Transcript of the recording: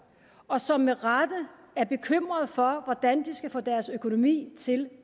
og som med rette er bekymrede for hvordan de skal få deres økonomi til